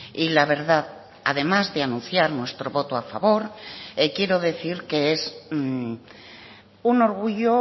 y la verdad además de anunciar nuestro voto a favor quiero decir que es un orgullo